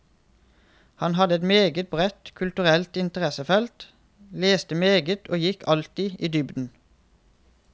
Han hadde et meget bredt kulturelt interessefelt, leste meget og gikk alltid i dybden.